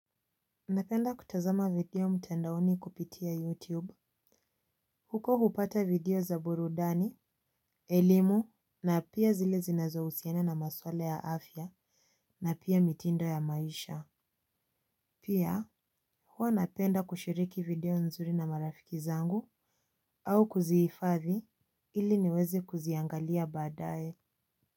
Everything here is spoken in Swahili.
Napenda kutazama video mtandaoni kupitia YouTube. Huko hupata video za burudani, elimu na pia zile zinazohusiana na maswala ya afya na pia mitindo ya maisha. Pia, huwa napenda kushiriki video nzuri na marafiki zangu au kuzihifadhi ili niwezi kuziangalia baadae.